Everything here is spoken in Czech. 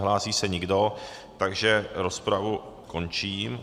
Nehlásí se nikdo, takže rozpravu končím.